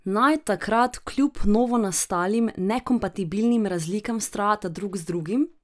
Naj takrat kljub novonastalim, nekompatibilnim razlikam vztrajata drug z drugim?